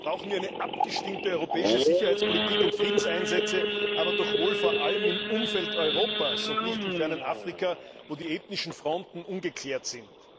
Grundsätzlich brauchen wir eine abgestimmte europäische Sicherheitspolitik und Friedenseinsätze, aber doch wohl vor allem im Umfeld Europas und nicht im fernen Afrika, wo die ethnischen Fronten ungeklärt sind.